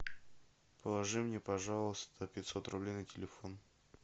положи мне пожалуйста пятьсот рублей на телефон